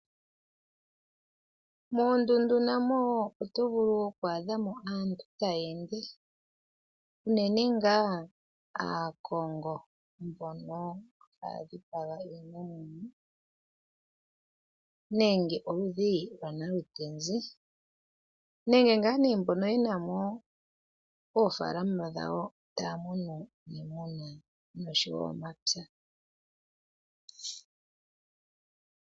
Moondundu namowo oto vulu oku adhamo aantu taya ende uunene ngaa aakongo mbono ha dhipaga iinamwenyo nenge oludhi lwanaluteze nenge ngaa ne mbono yenamo oofalama dhawo taamunu iimuna noshowo oomapya.